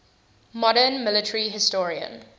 modern military historian